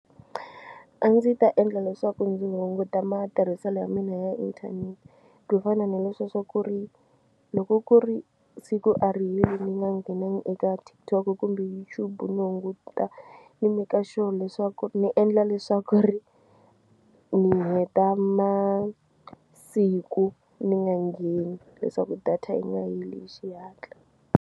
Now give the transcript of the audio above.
A ndzi ta endla leswaku ndzi hunguta matirhiselo ya mina ya inthanete ku fana na leswiya swa ku ri loko ku ri siku a ri heli ni nga nghenangi eka TikTok kumbe YouTube ni hunguta ni meka sure leswaku ni endla leswaku ri ni heta masiku ni nga ngheni leswaku data yi nga heli hi xihatla.